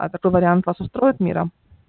а такой вариант вас устроит мира